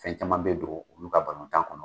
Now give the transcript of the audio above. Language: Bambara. Fɛn caman bɛ don olu ka balontan kɔnɔ.